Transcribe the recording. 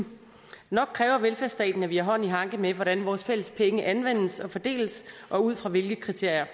nok kræver velfærdsstaten at vi har hånd i hanke med hvordan vores fælles penge anvendes og fordeles og ud fra hvilke kriterier